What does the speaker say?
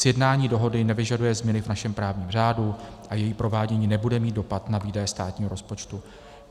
Sjednání dohody nevyžaduje změny v našem právním řádu a její provádění nebude mít dopad na výdaje státního rozpočtu.